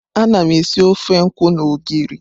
Ana m esi ofe nkwu na ogiri.